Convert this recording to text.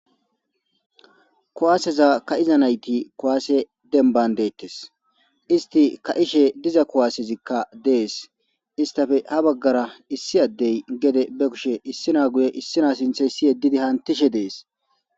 kuwaaseza ka7iza nayti kuwaase denban deettes isti ka7ishe diza kuwaassezikka dees istafe ha baggara issi addey gede be kushe issina guye issina sintheyssi yeddidi haantishe dees